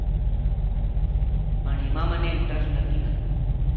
પણ એમાં મને interest નથી ન